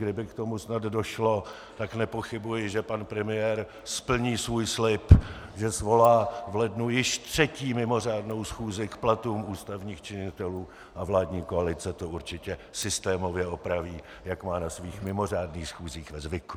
Kdyby k tomu snad došlo, tak nepochybuji, že pan premiér splní svůj slib, že svolá v lednu již třetí mimořádnou schůzi k platům ústavních činitelů, a vládní koalice to určitě systémově opraví, jak má na svých mimořádných schůzích ve zvyku.